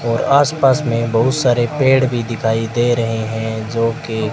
और आसपास में बहुत सारे पेड़ भी दिखाई दे रहे हैं जो के--